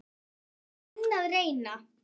Ég er enn að reyna.